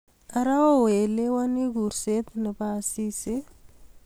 ara oelewani kuurset nebo Asisi